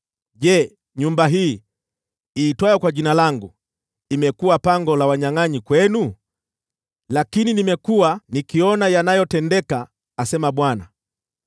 Je, nyumba hii, iitwayo kwa Jina langu, imekuwa pango la wanyangʼanyi kwenu? Lakini nimekuwa nikiona yanayotendeka! asema Bwana .